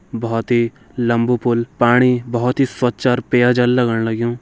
बहोत ही लम्बू पुल पाणी बहोत ही स्वच्छ और पेय जल लगण लग्यूं।